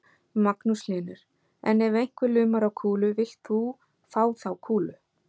Magnús Hlynur: En ef einhver lumar á kúlu, villt þú fá þá kúlu?